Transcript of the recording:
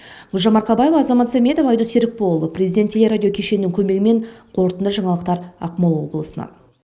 гүлжан марқабаева азамат сәметов айдос серікболұлы президенттік телерадио кешенінің көмегімен қорытынды жаңалықтар ақмола облысынан